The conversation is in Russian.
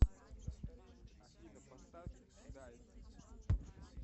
афина поставь дайв